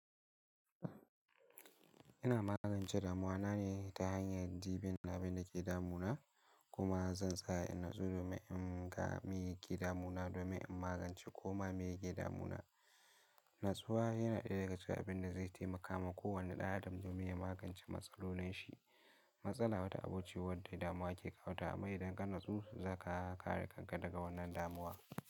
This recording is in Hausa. Ina magance damuwa na ne ta hanyar dibin abin da ke damuna kuma zan tsaya in natsu domin in ga me yake damuna domin in magance koma me yake damuna. Natsuwa yana ɗaya daga cikin abin da zai taimaka ma kowane ɗan adam domin ya magance matsalolin shi. Matsala wata abu ce wadda damuwa ke kawo ta amma idan ka natsu zaka kare kanka daga wannan damuwa.